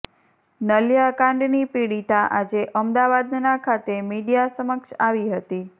નલિયા કાંડની પીડિતા આજે અમદાવાદના ખાતે મીડિયા સમક્ષ આવી હતી